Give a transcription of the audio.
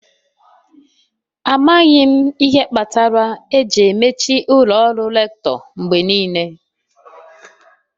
Amaghị m ihe kpatara eji emechi ụlọ ọrụ Rector mgbe niile.